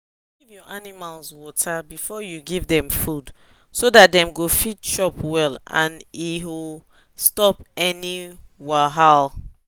give ur animal water before you give them food so that them go fit chop well and e ho stop any wahal